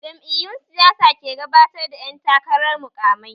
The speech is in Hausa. Jam'iyun siyasa ke gabatar da ƴan takarar muƙamai